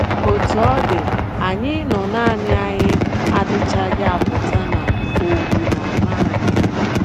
Otú ọ dị, anyị ịnọ nanị anyị adịchaghị apụta na owu na - ama anyị.